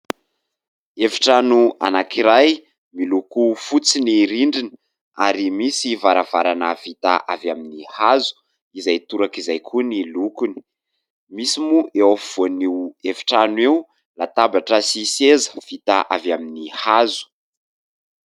Efitrano anankiray miloko fotsy ny rindrina ary misy varavarana vita avy amin'ny hazo izay torak'izay koa ny lokony. Misy moa eo afovoan'io efitrano io latabatra sy seza vita avy amin'ny hazo.